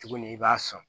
Tuguni i b'a sɔn